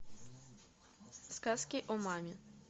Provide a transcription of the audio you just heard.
сказки о маме